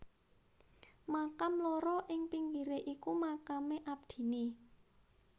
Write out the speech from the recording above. Makam loro ing pinggire iku makame abdine